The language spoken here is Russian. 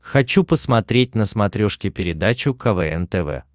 хочу посмотреть на смотрешке передачу квн тв